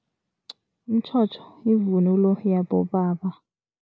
Umtjhotjho yivunulo yabobaba.